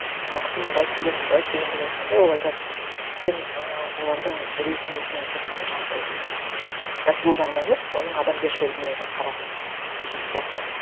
мынау кісі мында істеген мында істеген деп айтқанда ол айтатын сен ы олардың резюмесінің тек қана жаңағындай м кәсіби жағына емес оның адамгершілігіне де қара деген сияқты